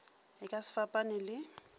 e ka se fapane le